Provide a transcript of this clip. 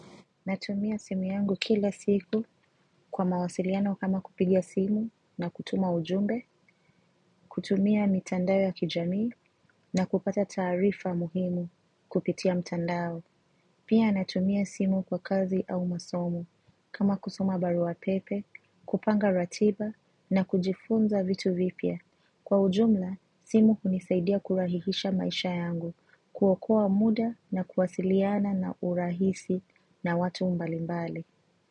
Natumia simu yangu kila siku kwa mawasiliano kama kupiga simu na kutuma ujumbe, kutumia mitandao ya kijamii na kupata taarifa muhimu kupitia mtandao. Pia natumia simu kwa kazi au masomo kama kusoma barua pepe, kupanga ratiba na kujifunza vitu vipya. Kwa ujumla, simu hunisaidia kurahisisha maisha yangu, kuokoa muda na kuwasiliana na urahisi na watu mbalimbali.